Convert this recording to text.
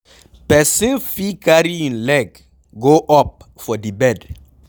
Person fit carry im leg go up for di bed